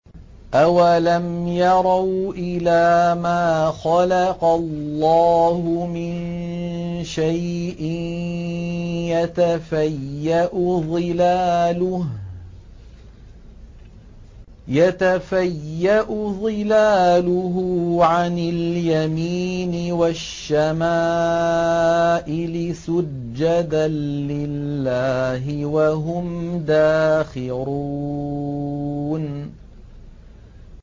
أَوَلَمْ يَرَوْا إِلَىٰ مَا خَلَقَ اللَّهُ مِن شَيْءٍ يَتَفَيَّأُ ظِلَالُهُ عَنِ الْيَمِينِ وَالشَّمَائِلِ سُجَّدًا لِّلَّهِ وَهُمْ دَاخِرُونَ